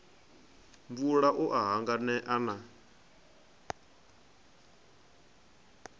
mvula u a hanganea na